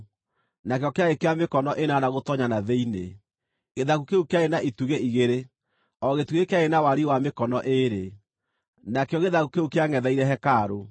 nakĩo kĩarĩ kĩa mĩkono ĩnana gũtoonya na thĩinĩ. Gĩthaku kĩu kĩarĩ na itugĩ igĩrĩ, O gĩtugĩ kĩarĩ na wariĩ wa mĩkono ĩĩrĩ. Nakĩo gĩthaku kĩu kĩangʼetheire hekarũ.